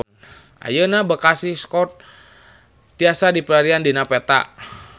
Ayeuna Bekasi Square tiasa dipilarian dina peta